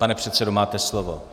Pane předsedo, máte slovo.